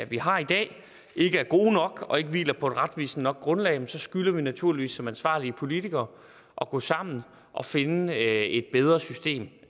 vi har i dag ikke er gode nok og ikke hviler på et retvisende nok grundlag skylder vi naturligvis som ansvarlige politikere at gå sammen og finde et bedre system